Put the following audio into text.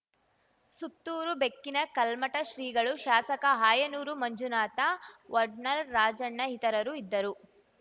ಸುತ್ತೂರು ಬೆಕ್ಕಿನ ಕಲ್ಮಠ ಶ್ರೀಗಳು ಶಾಸಕ ಆಯನೂರು ಮಂಜುನಾಥ ವಡ್ನಾಳ್‌ ರಾಜಣ್ಣ ಇತರರು ಇದ್ದರು